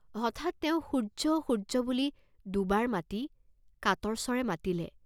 হঠাৎ তেওঁ "সূৰ্য্য" "সূৰ্য্য" বুলি দুবাৰ অতি কাতৰ স্বৰে মাতিলে।